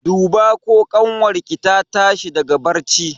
Duba ko ƙanwar ki ta tashi daga barci!